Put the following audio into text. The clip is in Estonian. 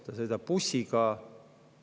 Ta sõidab bussiga.